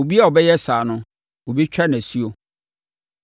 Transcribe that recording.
Obiara a ɔbɛyɛ saa no, wɔbɛtwa no asuo.”